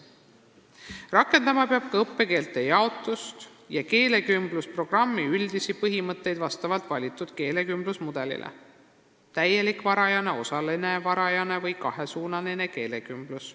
Ta peab rakendama ka õppekeelte jaotuse ja keelekümblusprogrammi üldisi põhimõtteid vastavalt valitud keelekümblusmudelile: täielik varajane, osaline varajane või kahesuunaline keelekümblus.